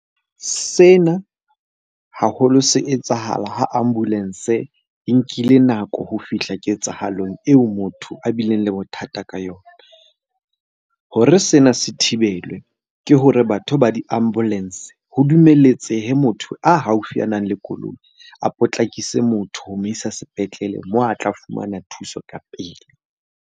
Sena haholo se etsahala ho ambulance e nkile nako ho fihla ketsahalong eo motho a bileng le bothata ka yona. Hore sena se thibelwe ke hore batho ba di-ambulance ho dumeletsehe motho a haufi a nang le koloi a potlakise motho ho mo isa sepetlele moo a tla fumana thuso ka pele.